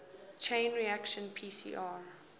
chain reaction pcr